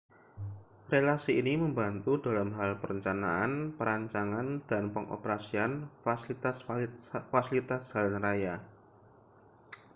relasi ini membantu dalam hal perencanaan perancangan dan pengoperasian fasilitas-fasilitas jalan raya